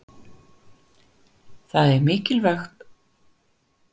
Það er mikilvægt að borða hollan mat til að húðin verði heilbrigð og slitni síður.